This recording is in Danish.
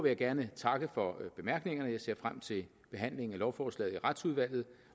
jeg gerne takke for bemærkningerne jeg ser frem til behandlingen af lovforslaget i retsudvalget